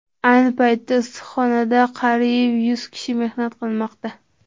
Ayni paytda issiqxonada qariyb yuz kishi mehnat qilmoqda.